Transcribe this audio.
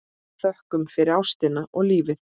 Þökkum fyrir ástina og lífið.